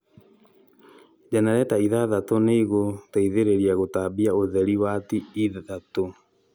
jenereta ithathatũ nĩcigũteithia gũtambia ũtherĩ wati ithatũ